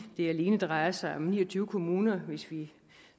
det alene drejer sig om ni og tyve kommuner hvis vi